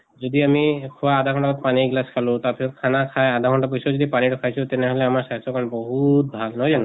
যদি আমি খোৱা আধা ঘন্টা পানী এগিলাছ খালো, তাৰ পিছত খানা খাই আধা ঘন্টা পিছত যদি পানী টো খাইছো, তেনেহলে আমাৰ স্বাস্থৰ কাৰণে ব- হু -ত ভাল নহয় জানো?